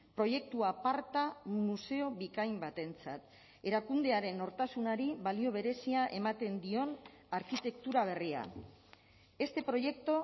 proiektu aparta museo bikain batentzat erakundearen nortasunari balio berezia ematen dion arkitektura berria este proyecto